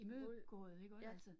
Mod, ja